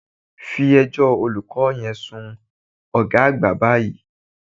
Fí ẹjọ́ olùkọ́ yẹn sun ọ̀gá àgbà báyìí